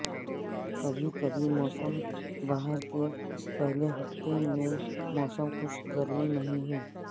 کبھی کبھی موسم بہار کے پہلے ہفتے میں موسم خوش گرمی نہیں ہیں